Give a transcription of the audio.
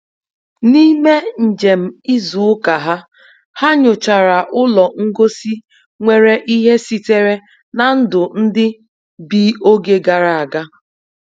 N'ime njem izu ụka ha, ha nyochara ụlọ ngosi nwere ihe sitere na ndụ ndị bi oge gara aga.